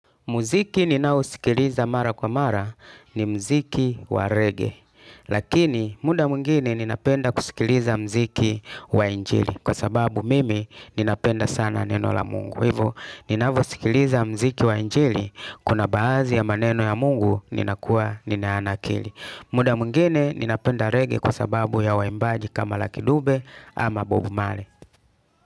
Muziki ninao sikiliza mara kwa mara ni mziki wa reggae. Lakini muda mwingine ninapenda kusikiliza mziki wa injili. Kwa sababu mimi ninapenda sana neno la Mungu. Kwa Hivyo ninavyosikiliza mziki wa injili kuna baadhi ya maneno ya Mungu ninakuwa ninayanakili. Muda mwingine ninapenda reggae kwa sababu ya waimbaji kama lucky dube ama bob marley.